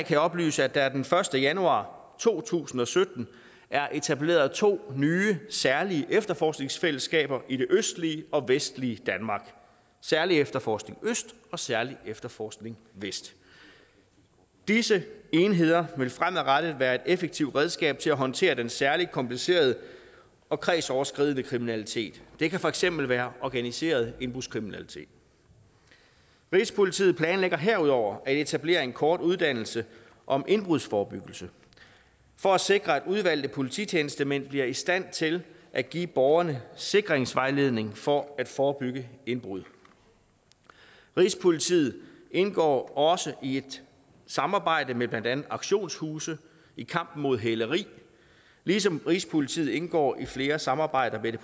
jeg oplyse at der den første januar to tusind og sytten er etableret to nye særlige efterforskningsfællesskaber i det østlige og vestlige danmark særlig efterforskning øst og særlig efterforskning vest disse enheder vil fremadrettet være et effektivt redskab til at håndtere den særlig komplicerede og kredsoverskridende kriminalitet det kan for eksempel være organiseret indbrudskriminalitet rigspolitiet planlægger herudover at etablere en kort uddannelse om indbrudsforebyggelse for at sikre at udvalgte polititjenestemænd bliver i stand til at give borgerne sikringsvejledning for at forebygge indbrud rigspolitiet indgår også i et samarbejde med blandt andet auktionshuse i kampen mod hæleri ligesom rigspolitiet indgår i flere samarbejder med det